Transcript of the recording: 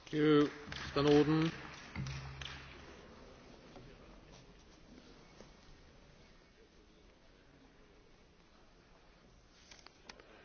Mr President, it is extraordinary how a story combining the United States, surveillance and privacy can excite such outpourings of cant and hypocrisy.